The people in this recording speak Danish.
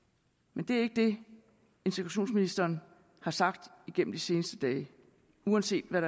men det er ikke det integrationsministeren har sagt gennem de seneste dage uanset hvad